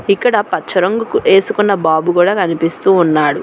ఇక్కడ పచ్చ రంగు వేసుకున్న బాబు కూడా కనిపిస్తూ ఉన్నాడు.